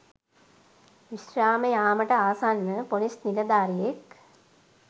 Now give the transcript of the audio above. විශ්‍රාම යාමට ආසන්න පොලිස් නිලධාරියෙක්